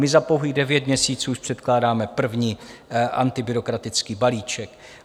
My za pouhých devět měsíců už předkládáme první antibyrokratický balíček.